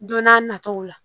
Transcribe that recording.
Don n'a nataw la